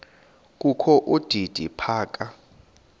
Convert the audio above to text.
kokho udidi phaka